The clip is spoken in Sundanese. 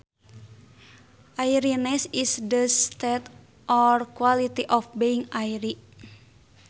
Airiness is the state or quality of being airy